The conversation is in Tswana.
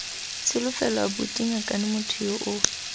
tsholofelo abuti ngakane motho yo